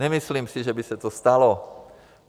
Nemyslím si, že by se to stalo.